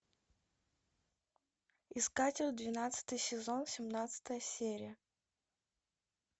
искатель двенадцатый сезон семнадцатая серия